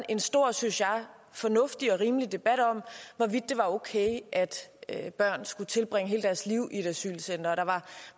en stor og synes jeg fornuftig og rimelig debat om hvorvidt det var okay at børn skulle tilbringe hele deres liv i et asylcenter og der var